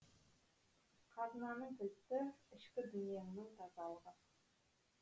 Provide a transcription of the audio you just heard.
қазынаның кілті ішкі дүниеңнің тазалығы